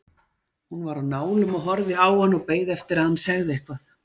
Hún var á nálum og horfði á hann og beið eftir að hann segði eitthvað.